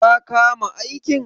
Ka kama aikin?